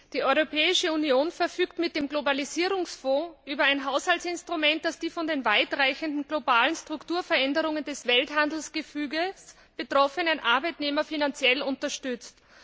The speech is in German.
Die Europäische Union verfügt mit dem Globalisierungsfonds über ein Haushaltsinstrument, das die von den weitreichenden globalen Strukturveränderungen des Welthandelsgefüges betroffenen Arbeitnehmer finanziell unterstützt.